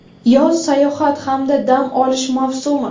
Yoz sayohat hamda dam olish mavsumi.